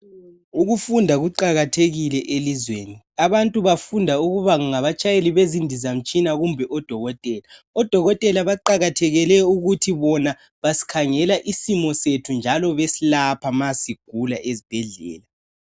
Ukufunda kuqakathekile elizweni. Abantu bafunda ukuba ngabatshayeli bezindizamtshina kumbe ukuba ngodokotela. Odokotela baqakathekele ukuthi bona basikhangela isimo sethu njalo besilapha nxa sigula ezibhedlela.